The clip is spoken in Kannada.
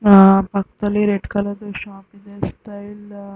ಆ ಪಕ್ಕದಲ್ಲಿ ರೆಡ್ ಕಲರ್ದು ಶಾಪ್ ಇದೆ. ಸ್ಟೈಲ್ ಅಂತಾ ಒಂದ್ ಬೋರ್ಡ್ --